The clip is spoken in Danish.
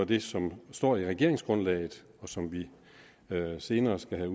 det som står i regeringsgrundlaget og som vi senere skal have